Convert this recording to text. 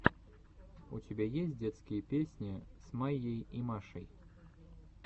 у тебя есть детские песни с майей и машей